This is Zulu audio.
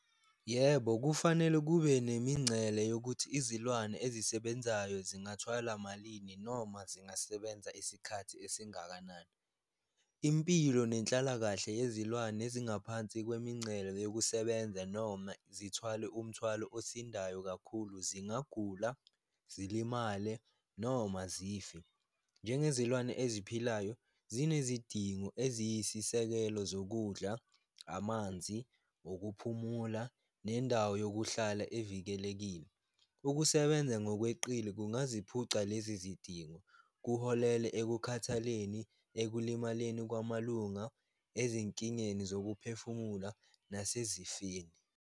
Yebo, kufanele kube nemincele yokuthi izilwane ezisebenzayo zingathwala malini noma zingasebenza isikhathi esingakanani, impilo nenhlalakahle yezilwane ezingaphansi kwemincele yokusebenza, noma zithwale umthwalo osindayo kakhulu, zingagula, zilimale, noma zife. Njengezilwane eziphilayo zinezidingo eziyisisekelo zokudla, amanzi wokuphumula nendawo yokuhlala evikelekile, ukusebenza ngokweqile kungaziphuca lezi zidingo, kuholele ekukhathaleleni, ekulimaleni kwamalunga, ezinkingeni zokuphefumula nasezifeni.